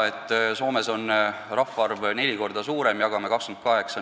Soomes on rahvaarv neli korda suurem kui meil.